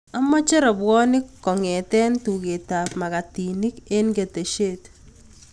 Amache rabuonik kong'ten tuget ab magatinik en ketesiet